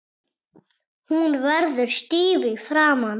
Hún verður stíf í framan.